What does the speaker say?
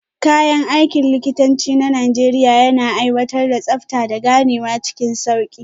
Kayan aikin likitanci na Najeriya yana aiwatar da tsabta, da ganewa cikin sauki.